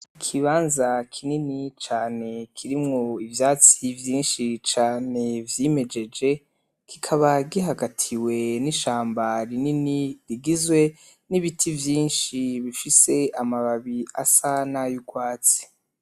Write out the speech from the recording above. Ikibanza kinini cane kirimwo ivyatsi vyinshi cane vyimejeje kikaba gihagatiwe n'ishamba rinini rigizwe n'ibiti vyinshi bifise amababi asa n'ay'urwatsi.